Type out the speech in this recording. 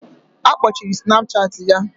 Akpochiri Snapchat ya